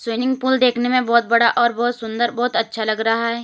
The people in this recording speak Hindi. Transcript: स्विमिंग पूल देखने में बहुत बड़ा और बहुत सुंदर बहुत अच्छा लग रहा है।